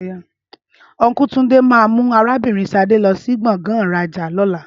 Ọnku Túndé ma mú arabinrin Sadé lọ sí gbọ̀ngàn ìrajà lóla